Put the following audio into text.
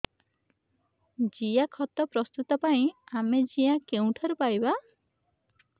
ଜିଆଖତ ପ୍ରସ୍ତୁତ ପାଇଁ ଆମେ ଜିଆ କେଉଁଠାରୁ ପାଈବା